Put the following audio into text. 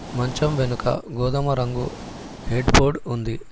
మంచం వెనుక గోధుమ రంగు హెడ్ బోర్డ్ ఉంది.